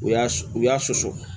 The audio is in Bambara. U y'a susu u y'a susu